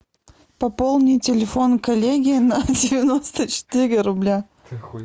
пополни телефон коллеги на девяносто четыре рубля